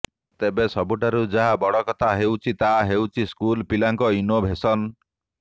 ତେବେ ସବୁଠାରୁ ଯାହା ବଡ କଥା ହେଉଛି ତାହା ହେଉଛି ସ୍କୁଲ ପିଲାଙ୍କ ଇନୋଭେସନ